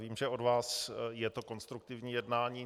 Vím, že od vás je to konstruktivní jednání.